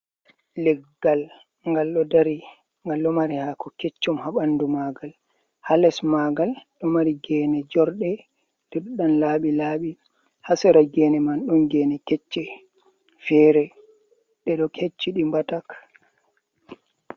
Leggal ngal ɗo dari, ngal do mari haako keccum, haa ɓandu maagal, haa les maagal ɗo mari geene jorɗe, ɗe ɗo nan laaɓi-laaɓi, haa sera geene man ɗon geene kecce, feere ɗe ɗo kecci ɗi mbatak.